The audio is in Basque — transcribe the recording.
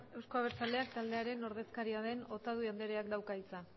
euzko abertzaleak taldearen ordezkaria den otadui andreak dauka hitza